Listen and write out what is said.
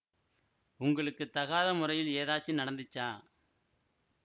உங்களுக்கு தகாத மொறையில ஏதாச்சிம் நடந்திச்சா